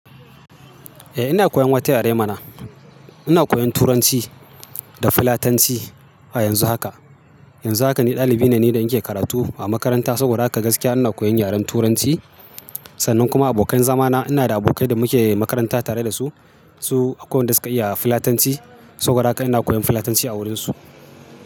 Eh ina koyan wata yare mana. Ina koyan Turanci da Filatanci a yanzu haka. Yanzu haka ni dalibi ne da nake karatu a Makaranta saboda haka gaskiya ina koyan yaren Turanci. Sannan kuma abokai zamana ina da abokai da muke makaranta tare da su. Su akwai wanda suka iya Filatanci saboda haka ina koyan Filatanci a wurinsu.